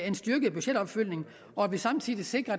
en styrket budgetopfølgning og samtidig sikrer